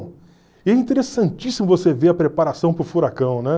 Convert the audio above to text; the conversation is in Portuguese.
E é interessantíssimo você ver a preparação para o furacão, né?